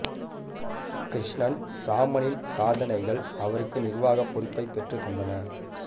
கிருஷ்ணன் ராமனின் சாதனைகள் அவருக்கு நிர்வாகப் பொறுப்பை பெற்று தந்தன